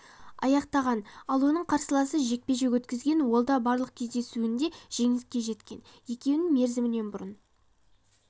аяқтаған ал оның қарсыласы жекпе-жек өткізген ол да барлық кездесуінде жеңіске жеткен екеуін мерзімінен бұрын